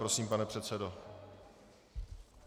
Prosím, pane předsedo.